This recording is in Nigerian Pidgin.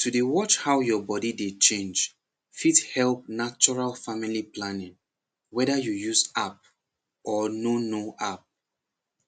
to dey watch how your body dey change fit help natural family planning whether you use app or no no app